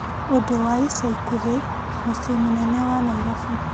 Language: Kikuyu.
ũndũ wa ica ikuhĩ mũciĩ mũnene wa Naĩrobĩ .